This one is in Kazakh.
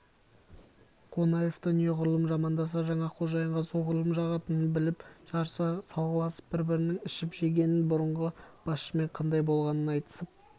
қонаевты неғұрлым жамандаса жаңа қожайынға соғұрлым жағатынын біліп жарыса салғыласып бір-бірінің ішіп-жегенін бұрынғы басшымен қандай болғанын айтысып